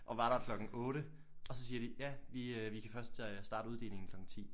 Og var der klokken 8 og så siger de ja vi øh vi kan først øh starte uddelingen klokken 10